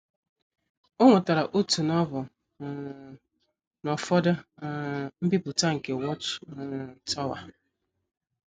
O nwetara otu Novel um na ụfọdụ um mbipụta nke Watch um Tower.